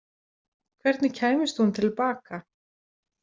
Hvernig kæmist hún til baka?